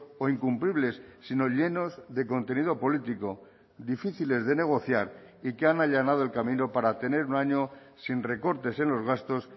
o incumplibles sino llenos de contenido político difíciles de negociar y que han allanado el camino para tener un año sin recortes en los gastos